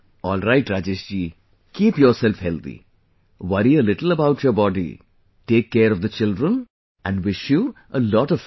Alright, Rajesh ji, keep yourself healthy, worry a little about your body, take care of the children and wish you a lot of progress